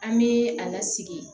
An bɛ a lasigi